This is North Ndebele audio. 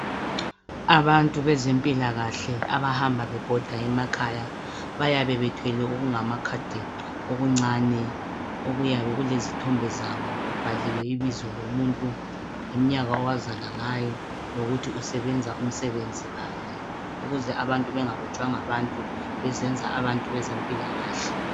Abantu bezempilakhle abahamba bebhoda emakhaya bayabe bethwele okungamakhadi okuncane okuyabe kulezithombe zabo kubhaliwe ibizo lomuntu lemnyaka owazalwa ngawo lokuthi usebenza umsebenzi bani ukuze abantu bengarojwa ngabantu bezenza abantu bezempilakahle.